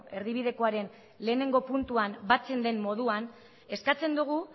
erdibidekoaren lehenengo puntuan batzen den moduan eskatzen dugu